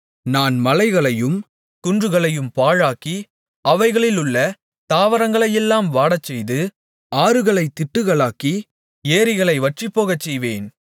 நான் மலைகளையும் குன்றுகளையும் பாழாக்கி அவைகளிலுள்ள தாவரங்களையெல்லாம் வாடச்செய்து ஆறுகளைத் திட்டுகளாக்கி ஏரிகளை வற்றிப்போகச்செய்வேன்